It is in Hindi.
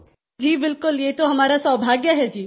समूह स्वर जी बिल्कुल ये तो हमारा सौभाग्य है जी